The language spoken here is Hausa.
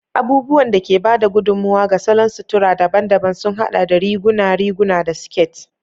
Abubuwan da ke ba da gudummawa ga salon sutura daban-daban sun haɗa da riguna, riguna, da siket.